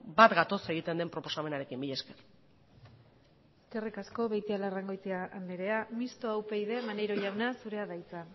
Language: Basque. bat gatoz egiten den proposamenarekin mila esker eskerrik asko beitialarrangoitia andrea mistoa upyd maneiro jauna zurea da hitza